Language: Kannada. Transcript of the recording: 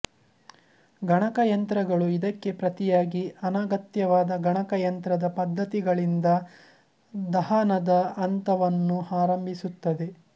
ಗಣಕಯಂತ್ರಗಳು ಇದಕ್ಕೆ ಪ್ರತಿಯಾಗಿ ಅನಗತ್ಯವಾದ ಗಣಕಯಂತ್ರದ ಪಧ್ಧತಿಗಳಿಂದ ದಹನದ ಹಂತವನ್ನು ಆರಂಭಿಸುತ್ತದೆ